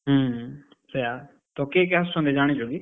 ହୁଁ ହୁଁ, ସେୟା, ତ କିଏ କିଏ ଆସୁଛନ୍ତି ଜାଣିଛ କି?